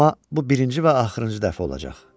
Amma bu birinci və axırıncı dəfə olacaq.